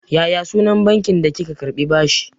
Ya ya sunan bankin da kika karɓi bashi.